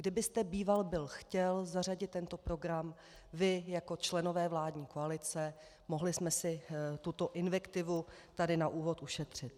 Kdybyste býval byl chtěl zařadit tento program, vy, jako členové vládní koalice, mohli jsme si tuto invektivu tady na úvod ušetřit.